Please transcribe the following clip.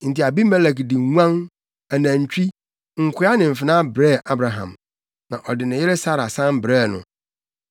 Enti Abimelek de nguan, anantwi, nkoa ne mfenaa brɛɛ Abraham. Na ɔde ne yere Sara san brɛɛ no.